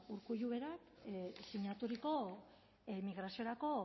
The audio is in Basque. urkulluk berak sinaturiko migraziorako